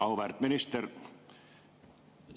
Auväärt minister!